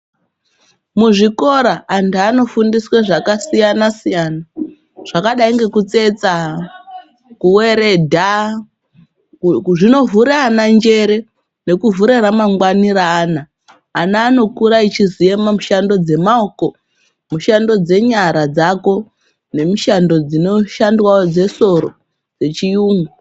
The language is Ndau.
Muzvikora antu anofundiswe zvakasiyana-siyana zvakadai ngekutsetsa, kuveredha zvinovhura ana njere nekuvhura ramangwani reana. Ana anokura achiziya mumushando dzemaoko, mishando dzenyara dzako nemishando dzinoshandwavo dzesoro dzechiyungu.